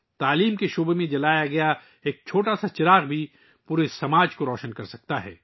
تعلیم کے میدان میں جلنے والا ایک چھوٹا سا چراغ بھی پورے معاشرے کو روشن کر سکتا ہے